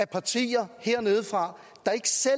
partierne hernedefra der ikke selv